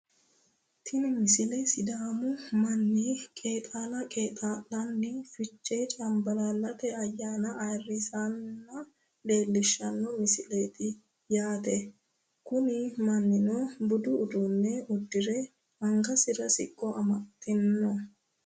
tini misile sidaamu manni qeexaala qeexaa'lanni fichee cambalaallate ayyaana ayeerrisanna leellishshanno misileeti yaate kuni mannnuno budu uddano uddire angansara siqqo amaxxe no